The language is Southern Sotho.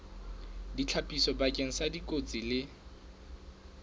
ditlhapiso bakeng sa dikotsi le